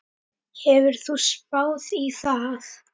Hefur þú spáð í það?